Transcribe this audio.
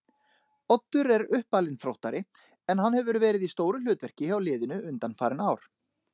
Oddur er uppalinn Þróttari en hann hefur verið í stóru hlutverki hjá liðinu undanfarin ár.